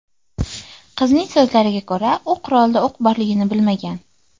Qizning so‘zlariga ko‘ra, u qurolda o‘q borligini bilmagan.